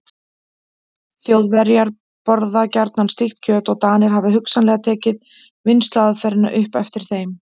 Þjóðverjar borða gjarnan slíkt kjöt og Danir hafa hugsanlega tekið vinnsluaðferðina upp eftir þeim.